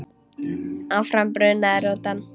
Áfram brunaði rútan.